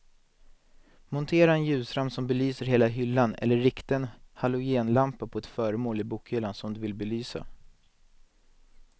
Montera en ljusramp som belyser hela hyllan eller rikta en halogenlampa på ett föremål i bokhyllan som du vill belysa.